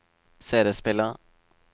CD-spiller